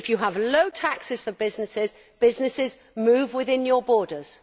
If you have low taxes for businesses, businesses move within your borders.